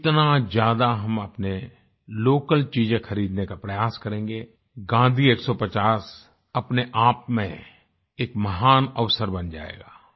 जितना ज्यादा हम अपने लोकल चीजें खरीदने का प्रयास करेंगें गांधी 150 अपने आप में एक महान अवसर बन जाएगा